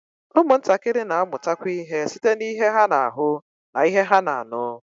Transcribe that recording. Ụmụntakịrị na-amụtakwu ihe site n'ihe ha na-ahụ na ihe ha na-anụ